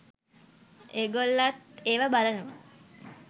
ඒගොල්ලත් ඒව බලනවා.